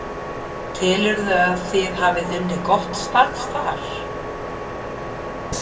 Telurðu að þið hafi unnið gott starf þar?